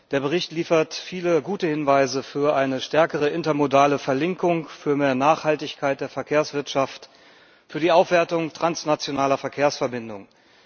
Der Bericht liefert viele gute Hinweise für eine stärkere intermodale Verlinkung, für mehr Nachhaltigkeit in der Verkehrswirtschaft, für die Aufwertung transnationaler Verkehrsverbindungen.